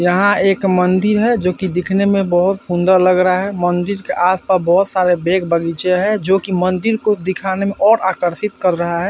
यहाँ एक मंदिर है जो कि दिखने में बोहोत सुंदर लग रहा है। मंदिर के आस-पास बोहोत सारे बेग बगीचे हैं जो कि मंदिर को दिखाने में और आकर्षित कर रहा है।